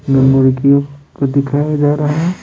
Memory की को दिखाया जा रहा है।